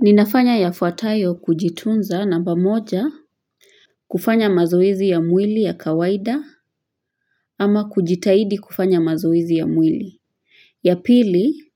Ninafanya yafuatayo kujitunza namba moja kufanya mazoezi ya mwili ya kawaida ama kujitahidi kufanya mazoezi ya mwili. Ya pili,